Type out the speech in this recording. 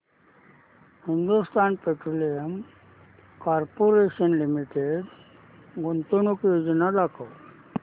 Hindustan petroleum corporation limited गुंतवणूक योजना दाखव